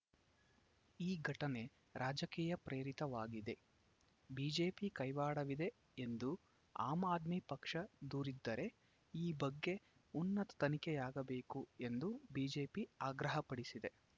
ಈ ಘಟನೆ ರಾಜಕೀಯ ಪ್ರೇರಿತವಾಗಿದೆ ಬಿಜೆಪಿ ಕೈವಾಡವಿದೆ ಎಂದು ಆಮ್‌ ಆದ್ಮಿ ಪಕ್ಷ ದೂರಿದ್ದರೆ ಈ ಬಗ್ಗೆ ಉನ್ನತ ತನಿಖೆಯಾಗಬೇಕು ಎಂದು ಬಿಜೆಪಿ ಆಗ್ರಹಪಡಿಸಿದೆ